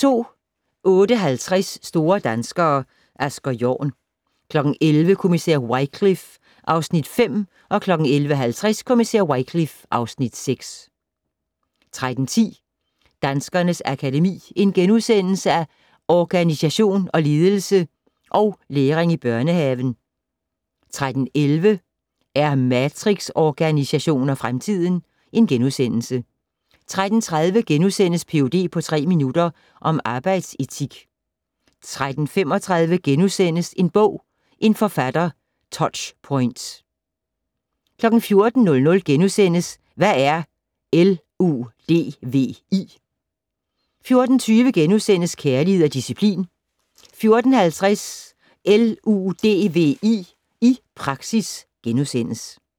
08:50: Store danskere - Asger Jorn 11:00: Kommissær Wycliffe (Afs. 5) 11:50: Kommissær Wycliffe (Afs. 6) 13:10: Danskernes Akademi: Organisation og ledelse & Læring i børnehaven * 13:11: Er matrixorganisationer fremtiden? * 13:30: Ph.d. på tre minutter - om arbejdsetik * 13:35: En bog - en forfatter - Touchpoints * 14:00: Hvad er LUDVI? * 14:20: Kærlighed og disciplin * 14:50: LUDVI i praksis *